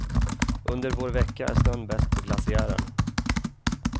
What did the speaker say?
Under vår vecka är snön bäst på glaciären.